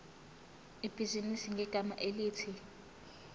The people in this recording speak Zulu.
ibhizinisi ngegama elithi